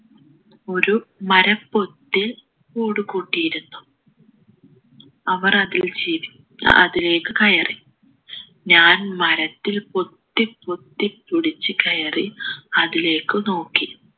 ഒരു മരപ്പൊത്തിൽ കൂടുകൂട്ടിയിരുന്നു അവർ അതിൽ ജീവി അതിലേക്ക് കയറി ഞാൻ മരത്തിൽ പൊത്തി പൊത്തിപ്പിടിച്ച് കയറി അതിലേക്ക് നോക്കി